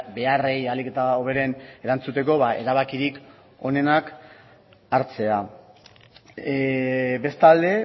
beharrei ahalik eta hoberen erantzuteko erabakirik onenak hartzea bestalde